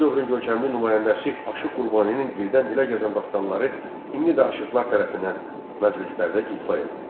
Bu dövrün görkəmli nümayəndəsi Aşıq Qurbaninin dildən-dilə gəzən dastanları indi də aşıqlar tərəfindən məclislərdə ifa edilir.